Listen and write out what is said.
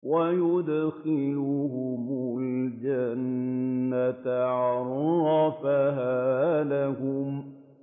وَيُدْخِلُهُمُ الْجَنَّةَ عَرَّفَهَا لَهُمْ